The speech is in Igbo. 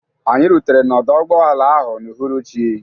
Anyị rutere n'ọdọ ụgbọala ahụ n'uhuruchi.